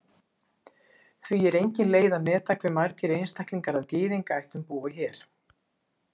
Því er engin leið að meta hve margir einstaklingar af Gyðingaættum búa hér.